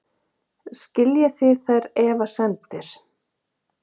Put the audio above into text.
Skiljið þið þær efasemdir?